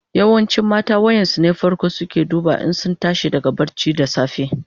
Yawancin mata wayan su ne fako suke duba in sun tashi daga barci da safe.